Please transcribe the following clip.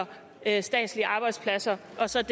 af statslige arbejdspladser